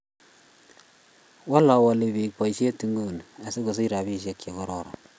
Wala wali biik poisyet nguni asigosich rapisyek che kororon.